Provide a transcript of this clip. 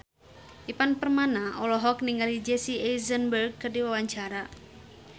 Ivan Permana olohok ningali Jesse Eisenberg keur diwawancara